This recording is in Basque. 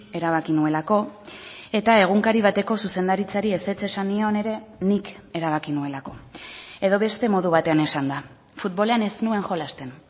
erabaki nuelako eta egunkari bateko zuzendaritzari ezetz esan nion ere nik erabaki nuelako edo beste modu batean esanda futbolean ez nuen jolasten